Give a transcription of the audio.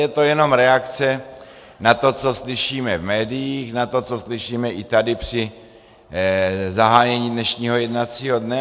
Je to jenom reakce na to, co slyšíme v médiích, na to, co slyšíme i tady při zahájení dnešního jednacího dne.